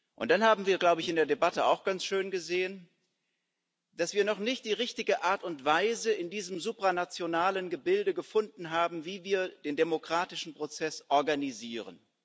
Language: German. Und dann haben wir in der Debatte auch ganz schön gesehen, dass wir noch nicht die richtige Art und Weise in diesem supranationalen Gebilde gefunden haben, wie wir den demokratischen Prozess organisieren.